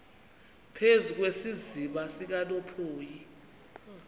phezu kwesiziba sikanophoyi